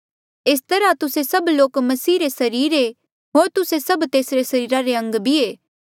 एस तरहा तुस्से सभ लोक मसीह रे सरीर ऐें होर तुस्से सभ तेसरे सरीरा रे अंग भी ऐें